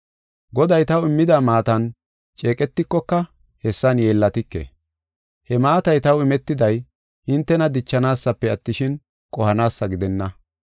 Goday taw immida maatan ceeqetikoka hessan yeellatike. He maatay taw imetiday hintena dichanaasafe attishin, qohanaasa gidenna.